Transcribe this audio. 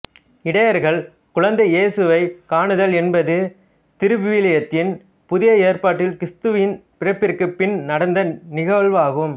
இடையர்கள் குழந்தை இயேசுவை காணுதல் என்பது திருவிவிலியத்தின் புதிய ஏற்பாட்டில் கிறிஸ்துவின் பிறப்பிற்குப் பின் நடந்த நிகவாகும்